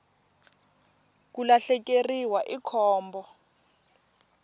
ku lahlekeriwa i khombo